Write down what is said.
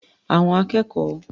Àwọn akẹ́kọ̀ọ́